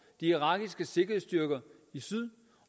de irakiske sikkerhedsstyrker i syd